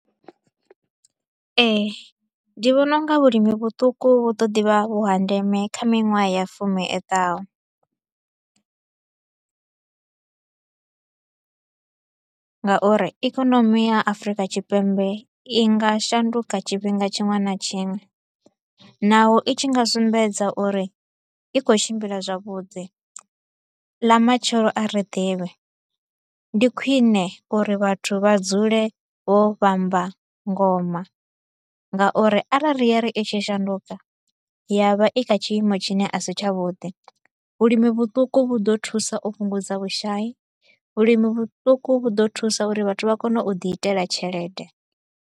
Ee, ndi vhona u nga vhulimi vhuṱuku vhu ḓo ḓivha vhu ha ndeme kha miṅwaha ya fumi iḓaho nga uri ikonomi ya Afurika Tshipembe i nga shanduka tshifhinga tshiṅwe na tshiṅwe. Naho i tshi nga sumbedza uri i kho u tshimbila zwavhuḓi, ḽa matshelo a ri ḓivhi, ndi khwine uri vhathu vha dzule vho vhamba ngoma nga uri arali ya ri i tshi shanduka ya vha i kha tshiimo tshine a si tsha vhuḓi, vhulimi vhuṱuku vhu ḓo thusa uo fhungudza vhushai, vhulimi vhuṱuku vhu ḓo thusa uri vhathu vha kone u ḓi itela tshelede.